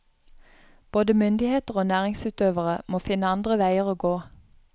Både myndigheter og næringsutøvere må finne andre veier å gå.